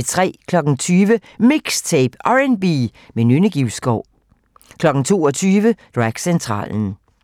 20:00: MIXTAPE - R&B med Nynne Givskov 22:00: Dragcentralen